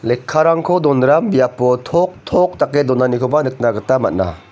lekkarangko donram biapo toktok dake donanikoba nikna gita man·a.